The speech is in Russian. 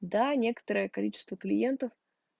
да некоторое количество клиентов